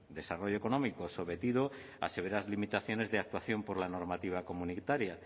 desarrollo económico sometido a severas limitaciones de actuación por la normativa comunitaria